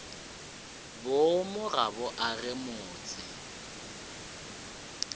boomo ga bo age motse